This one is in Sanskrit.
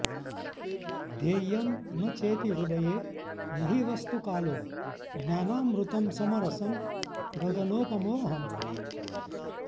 ध्येयं न चेति हृदये न हि वस्तु कालो ज्ञानामृतं समरसं गगनोपमोऽहम्